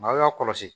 N'aw y'a kɔlɔsi